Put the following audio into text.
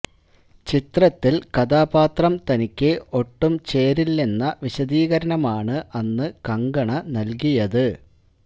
ചിത്രത്തില് കഥാപാത്രം തനിക്ക് ഒട്ടു ചേരില്ലെന്ന വിശദീകരണമാണ് അന്ന് കങ്കണ നല്കിയത്